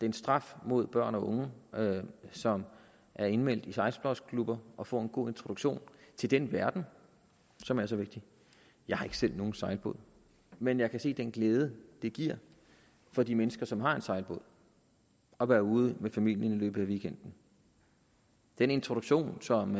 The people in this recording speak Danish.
en straf mod børn og unge som er indmeldt i sejlsportsklubber og får en god introduktion til den verden som er så vigtig jeg har ikke selv nogen sejlbåd men jeg kan se den glæde det giver for de mennesker som har en sejlbåd at være ude med familien i løbet af weekenden den introduktion som